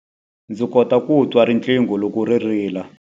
Ndzi kota ku twa riqingho loko ri rila.